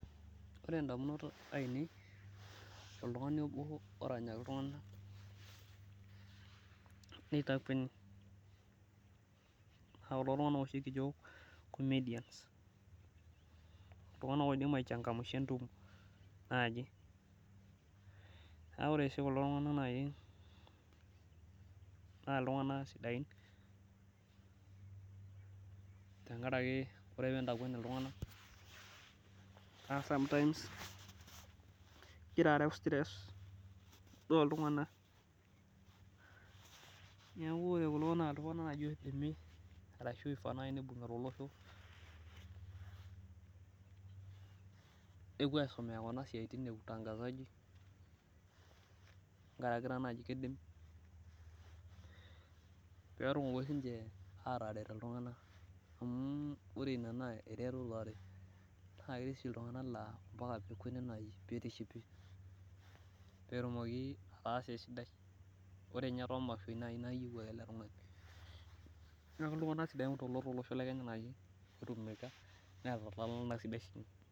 ore idamunot ainei toltungani obo oranyaki iltunganak nitakueni, naa kulo tunganak oshi kijio komedians iltunganak oidim aichangamsha entumo, tenkaraki ore pee itakueni iltunganak ore sometime igira areu elekunya neeku ore kulo tunganak naa kifaa pee ibungi oleng, nepuo aisomea kuna tokitin amu kegira aret iltunganak ore ninye too imashoi naa iyieu ake ele tungani.